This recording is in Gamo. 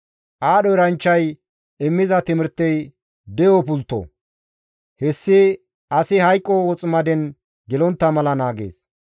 Aadho eranchchay immiza timirtey de7o pultto; hessi asi hayqo woximaden gelontta mala naagees.